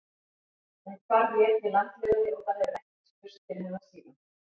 Hún hvarf í einni landlegunni og það hefur ekkert spurst til hennar síðan.